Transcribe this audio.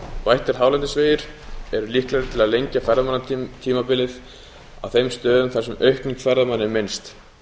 bættir hálendisvegir eru líklegir til að lengja ferðamannatímabilið á þeim stöðum þar sem aukning ferðamanna er minnst